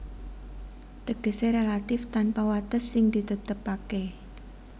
Tegesé relatif tanpa wates sing ditetepaké